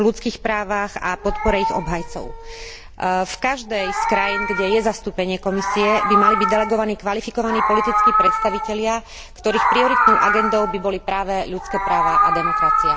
ľudských práv a podporu ich obhajcov. V každej z krajín, kde je zastúpenie Komisie, by mali byť delegovaní kvalifikovaní politickí predstavitelia, ktorých prioritnou agendou by boli práve ľudské práva a demokracia.